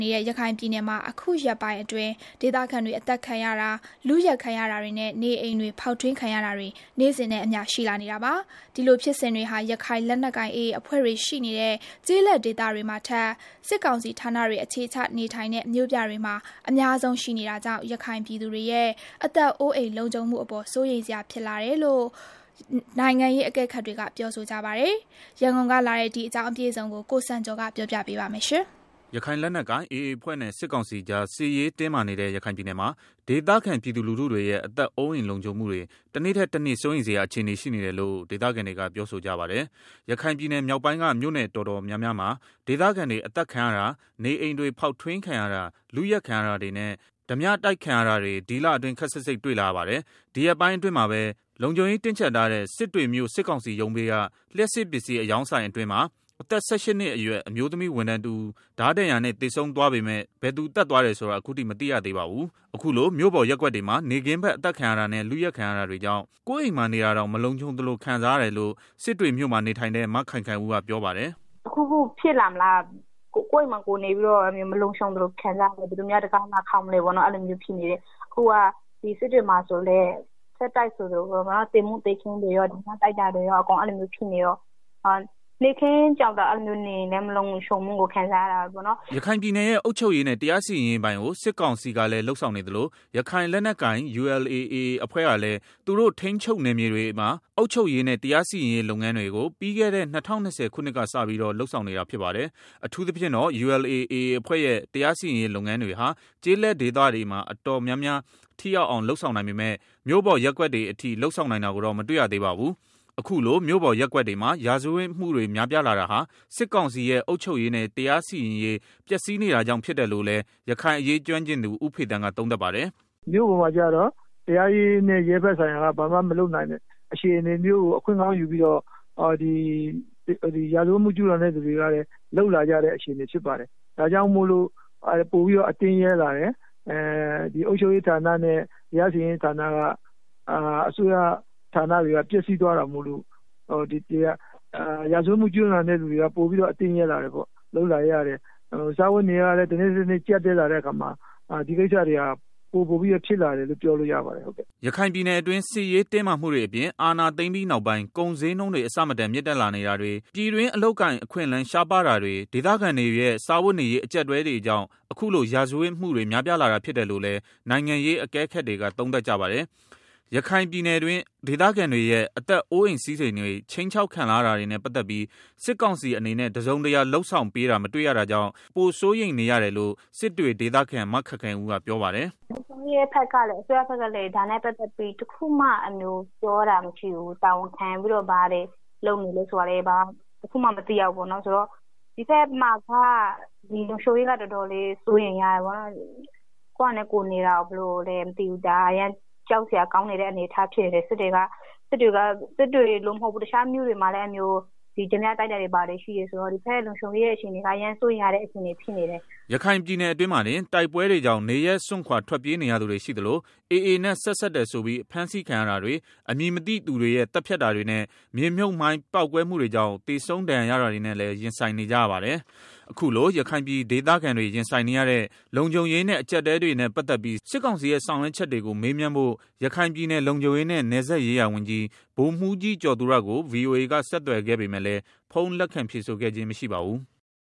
နေတဲ့ရခိုင်ပြည်နယ်မှာ အခုရက်ပိုင်းအတွင်း ဒေသခံတွေအသတ်ခံရတာ၊ လုယက်ခံရတာတွေနဲ့ နေအိမ်တွေဖောက်ထွင်းခံရတာတွေ နေ့စဉ်နဲ့အမျှ ရှိလာနေတာပါ။ ဒီလိုဖြစ်စဉ်တွေဟာ ရခိုင်လက်နက်ကိုင် AA အဖွဲ့တွေရှိနေတဲ့ ကျေးလက်ဒေသတွေမှာထက် စစ်ကောင်စီဌာနတွေအခြေချ နေထိုင်တဲ့ မြို့ပြတွေမှာအများ ဆုံးရှိနေတာကြောင့် ရခိုင်ပြည်သူတွေရဲ့ အသက်အိုးအိမ်လုံခြုံမှုအပေါ် စိုးရိမ်စရာဖြစ်လာတယ်လို့ နိုင်ငံရေးအကဲခတ်တွေက ပြောဆိုကြပါတယ်။ ရန်ကုန်ကလာတဲ့ ဒီအကြောင်းအပြည့်အစုံကိုတော့ ကိုစံကျော်က တင်ပြပေးထားပါတယ်။ ရခိုင်လက်နက်ကိုင် AA အဖွဲ့နဲ့ စစ်ကောင်စီကြားစစ်ရေးတင်းမာနေတဲ့ ရခိုင်ပြည်နယ်မှာ ဒေသခံပြည်သူလူတွေရဲ့ အသက်အိုးအိမ်လုံခြုံမှုတွေ တနေ့ထက်တနေ့ စိုးရိမ်စရာ အခြေအနေရှိနေတယ်လို့ ဒေသခံတွေက ပြောဆိုကြပါတယ်။ ရခိုင်ပြည်နယ်မြောက်ပိုင်းက မြို့နယ်တော်တော်များများမှာ ဒေသခံတွေအသတ်ခံရတာ၊ နေအိမ်တွေ ဖောက်ထွင်းခံရတာ၊ လုယက်ခံရတာတွေနဲ့ ဓားပြတိုက်ခံရတာတွေ ဒီလအတွင်း ခပ်စိပ်စိပ်တွေ့လာရပါတယ်။ ဒီရက်ပိုင်းအတွင်းမှာပဲ လုံခြုံရေးတင်းကြပ်ထားတဲ့ စစ်တွေမြို့ စစ်ကောင်စီရုံးဘေးက လျှပ်စစ်ပစ္စည်း အရောင်းဆိုင်အတွင်း အသက် ၁၈ နှစ်ရွယ် အမျိုးသမီး ဝန်ထမ်းတဦး ဓားဒဏ်ရာနဲ့ သေဆုံးသွားပေမယ့် ဘယ်သူသတ်သွားတယ်ဆိုတာ အခုထိ မသိသေးပါဘူး။ အခုလို မြို့ပေါ်ရပ်ကွက်တွေမှာ နေ့ခင်းဘက် အသတ်ခံရတာနဲ့ လုယက်ခံရတာတွေကြောင့် ကိုယ့်အိမ်မှာနေတာတောင် မလုံခြုံသလို ခံစားရတယ်လို့ စစ်တွေ မြို့မှာ နေထိုင်တဲ့ မခိုင်ခိုင်ဦးကပြောပါတယ်။ “တခုခုဖြစ်မှာလား ကိုယ့်အိမ်မှာကိုယ်နေပြီးတော့ မလုံခြုံသလို ခံစားနေရတယ်၊ ဘယ်သူများ တံခါးလာခေါက်မလဲပေါ့၊ အခုက စစ်တွေမှာဆိုရင်လည်း ဆက်တိုက်ဆိုသလို သေမှုသေခင်းတွေ၊ ဓားပြတိုက်တာတွေ ဖြစ်နေတော့ နေ့ခင်းဘက် နေရင်တောင် လုံခြုံတယ်လို့ မခံစားရဘူး။” ရခိုင်ပြည်နယ်ရဲ့ အုပ်ချုပ်ရေးနဲ့ တရားစီရင်ရေးပိုင်းကို စစ်ကောင်စီကလည်း လုပ်ဆောင်နေသလို ရခိုင်လက်နက်ကိုင် ULA/AA အဖွဲ့ကလည်း သူတို့ထိန်းချုပ်နယ်မြေတွေမှာအုပ်ချုပ်ရေးနဲ့ တရားစီရင်ရေးလုပ်ငန်းတွေကို ပြီးခဲ့တဲ့ ၂၀၂၀ ခုနှစ်က စပြီးတော့ လုပ်ဆောင်နေတာဖြစ်ပါတယ်။ အထူးသဖြင့်တော့ ULA/AA အဖွဲ့ရဲ့ တရားစီရင်ရေးလုပ်ငန်းတွေဟာ ကျေးလက်ဒေသတွေမှာ တော်တော်များများ ထိရောက်အောင်လုပ်ဆောင်နိုင်ပေမယ့် မြို့ပေါ်ရပ်ကွက်တွေအထိ လုပ်ဆောင်နိုင်တာကိုတော့ မတွေ့ရသေးပါဘူး။ အခုလို မြို့ပေါ်ရပ်ကွက်တွေမှာ ရာဇဝတ်မှုတွေများပြားလာတာဟာ စစ်ကောင်စီရဲ့ အုပ်ချုပ်ရေးနဲ့တရားစီရင်ရေး ပျက်စီးနေတာကြောင့် ဖြစ်တယ်လို့လည်း ရခိုင်အရေးကျွမ်းကျင်သူ ဦးဖေသန်းက သုံးသပ်ပါတယ်။ “မြို့ပေါ်မှာကျတော့ တရားရေးနဲ့ ရဲဘက်ဆိုင်ရာက ဘာမှမလုပ်နိုင်တဲ့ အခြေအနေကို အခွင့်ကောင်းယူပြီးတော့ ရာဇဝတ်မှု ကျူးလွန် သူတွေက အခွင့်ကောင်းယူပြီးတော့ လုပ်လာကြတာ ဖြစ်တယ်။ ဒါကြောင့် ပိုပြီးတော့ အတင့်ရဲလာတယ်၊ အုပ်ချုပ်ရေးနဲ့ တရားစီရင်ရေး အစိုးရကဏ္ဍက ပျက်စီးသွားတာမို့လို့ ရာဇဝတ်မှုကျူးလွန်တဲ့ သူတွေက ပိုပြီးတော့ အတင့်ရဲလာတာပေါ့။ စားဝတ်နေရေးကလည်း တနေ့ထက်တနေ့ ပိုပြီးတော့ ကြပ်တည်း လာတော့ ဒီကိစ္စတွေ ပိုများလာတာပေါ့။” ရခိုင်ပြည်နယ်အတွင်း စစ်ရေးတင်းမာမှုတွေအပြင် အာဏာသိမ်းပြီးနောက်ပိုင်း ကုန်းဈေးနှုန်းတွေ အဆမတန် မြင့်တက်လာနေတာတွေ၊ ပြည်တွင်း အလုပ်အကိုင် အခွင့်အလမ်း ရှားပါးတာတွေ၊ ဒေသခံတွေရဲ့ စားဝတ်နေရေး အကြပ်အတည်းတွေကြောင့် အခုလို ရာဇဝတ်မှုတွေ များပြားလာတာဖြစ်တယ်လို့လည်း နိုင်ငံရေးအကဲခတ်တွေက သုံးသပ်ကြပါတယ်။ ရခိုင်ပြည်တွင်း ဒေသခံတွေရဲ့ အသက်အိုးအိမ်စည်းစဉ်တွေ ခြိမ်းခြောက်ခံ လာရတာတွေနဲ့ ပတ်သတ်ပြီး စစ်ကောင်စီအနေနဲ့ တစုံတရာလုပ်ဆောင်ပေးတာ မတွေ့ရတာကြောင့် တနေ့ထက်တနေ့ ပိုစိုးရိမ်နေရတယ်လို့ စစ်တွေဒေသခံ မခိုင်ခိုင်ဦး ကပြောပါတယ်။ “ လုံခြုံရေးနဲ့ ပတ်သတ်ပြီး အစိုးရဖက်ကလည်းတခုမှ လုပ်ပေးတာမရှိဘူး။ တာဝန်ခံပြီးတော့ ဘာတွေ လုပ်နေလဲ ဆိုတာလည်း တခုမှမသိရဘူး။ ဒီဖက်မှာ လုံခြုံရေးက တော်တေ်ာလေးစိုး ရိမ်ရတယ်။ ကိုယ်ဟာနဲ့ ကိုယ် နေတာတောင်မှ ဘယ်လိုမှန်းမသိဘူး အရမ်းကြောက် စရာကောင်းတယ်။ စစ်တွေမှ မဟုတ်ပါဘူး။ တခြား မြို့နယ်တွေမှာလည်း အဲလိုမျိုး ဓားပြတိုက်တာတွေ ဘာတွေရှိတယ်ဆိုတော့လေ၊ ကိုယ့်ရဲ့ လုံခြုံရေး အခြေအနေက တော်တေ်ာစိုးရိမ်ရတဲ့ အခြေအနေဖြစ်နေတယ်။” ရခိုင်ပြည်နယ်အတွင်းမှာတင် တိုက်ပွဲတွေကြောင့် နေရပ်စွန့်ခွာ ထွက်ပြေးနေရသူတွေ ရှိသလို AA နဲ့ဆက်စပ်တယ်ဆိုပြီး ဖမ်းဆီးခံရတာတွေ၊ အမည်မသိသူတွေရဲ့ သတ်ဖြတ်တာတွေနဲ့ မြေမြုပ်မှိုင်း ပေါက်ကွဲမှုတွေကြောင့် သေဆုံး ဒဏ်ရာရတာတွေနဲ့လည်း ရင်ဆိုင်နေကြရပါတယ်။ အခုလို ရခိုင်ပြည်ဒေသခံတွေရင်ဆိုင်နေရတဲ့ လုံခြုံရေးနဲ့ အကြပ်အတည်းတွေနဲ့ ပတ်သတ်ပြီးစစ်ကောင်စီရဲ့ ဆောင်ရွက်ချက်တွေကို မေးမြန်းဖို့ ရခိုင်ပြည်နယ် လုံခြုံရေးနဲ့ နယ်စပ်ရေးရာဝန်ကြီး ဗိုလ်မှူးကြီး ကျော်သူရကို ဗွီအိုအေက ဆက်သွယ်ခဲ့ပေမယ့်လည်း ဖုန်းလက် ခံဖြေဆိုခဲ့ခြင်း မရှိပါဘူး။